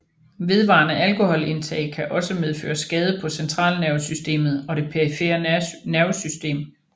Vedvarende alkoholindtag kan også medføre skade på centralnervesystemet og det perifere nervesystem